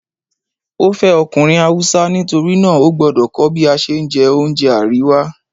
ó fẹ́ ọkùnrin Hausa nítorí náà ógbọ́dọ̀ kọ́ bí a ṣe ń jẹ oúnjẹ àríwá.